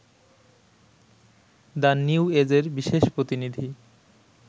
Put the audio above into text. the নিউএজর বিশেষ প্রতিনিধি